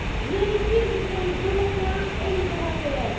Les victimes, ce sont les Européens et les européennes.